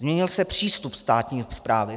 Změnil se přístup státní správy.